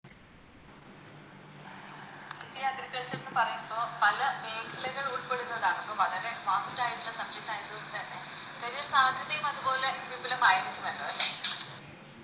ഈ Agriculture എന്ന് പറയുമ്പോ പല മേഖലകളും ഉൾപ്പെടുന്നതാണ് ഇപ്പൊ വളരെ Fast ആയിട്ടുള്ള Subject ആയത് കൊണ്ട് തന്നെ ചെറിയ സാധ്യതയും അതുപോലെ വിപുലമായിരിക്കുമല്ലോ അല്ലെ